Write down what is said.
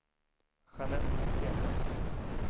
Jeanette Stenlund